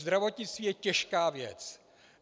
Zdravotnictví je těžká věc.